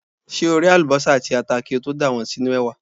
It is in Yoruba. Ṣé o ré àlùbọ́sà àti ata kí o tó dà wọ́n sínú ẹ̀wà?